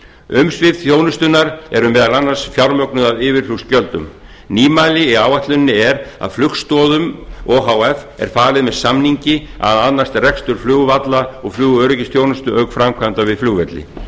umsvif þjónustunnar er meðal annars fjármögnuð af yfirflugsgjöldum nýmæli í áætluninni er að flugstoðum o h f er falið með samningi að annast rekstur flugvalla og flugöryggisþjónustu auk framkvæmdar við flugvelli